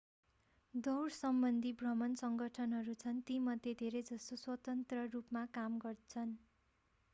अन्तर्राष्ट्रिय स्तरमा लगभग 200 दौडसम्बन्धी भ्रमण सङ्गठनहरू छन् तीमध्ये धेरै जसो स्वतन्त्र रूपमा काम गर्छन्